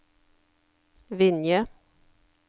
Vinje